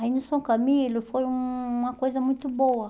Aí no São Camilo foi uma coisa muito boa.